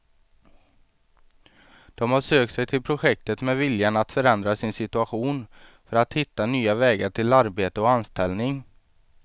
De har sökt sig till projektet med viljan att förändra sin situation för att hitta nya vägar till arbete och anställning.